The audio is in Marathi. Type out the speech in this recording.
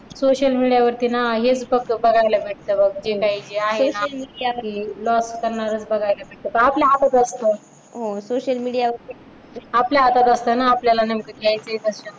सोशल मीडियावर वरती ना हेच फक्त बघायला भेटत बघ. जे काही जे आहे ना सोशल मीडियावरील loss करणारच बघायला भेटत तर ते आपल्या हातात असत. सोशल मीडियावरील आपल्या हातात असत ना आपल्याला नेमके जे आहे.